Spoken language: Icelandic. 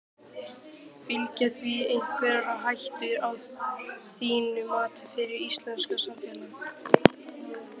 Fylgja því einhverjar hættur að þínu mati fyrir íslenskt samfélag?